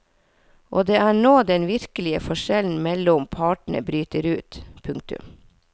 Og det er nå den virkelige forskjellen mellom partene bryter ut. punktum